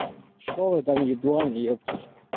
что вы там ебланы ёптиль